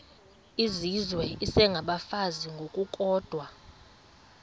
izizwe isengabafazi ngokukodwa